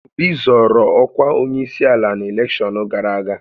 Obi zọọrọ ọkwa onyeisiala na elekshọn gara aga.